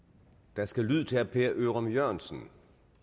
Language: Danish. der skal lyd til herre per ørum jørgensen